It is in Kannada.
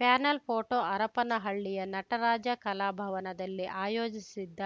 ಪ್ಯಾನೆಲ್‌ ಫೋಟೋ ಹರಪನಹಳ್ಳಿಯ ನಟರಾಜ ಕಲಾಭವನದಲ್ಲಿ ಆಯೋಜಿಸಿದ್ದ